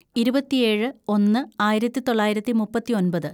ഇരുപത്തിയേഴ് ഒന്ന് ആയിരത്തിതൊള്ളായിരത്തി മുപ്പത്തിയൊമ്പത്‌